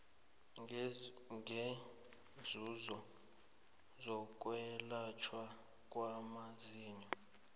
ngeenzuzo zokwelatjhwa kwamazinyo